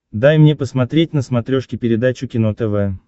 дай мне посмотреть на смотрешке передачу кино тв